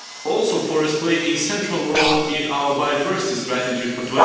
Also, forests play a central role in our biodiversity strategy for